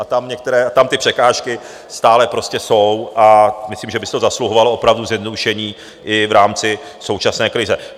A tam ty překážky stále prostě jsou a myslím, že by si to zasluhovalo opravdu zjednodušení i v rámci současné krize.